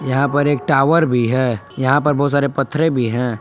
यहां पर एक टॉवर भी है यहां पर बहुत सारे पत्थरें भी हैं।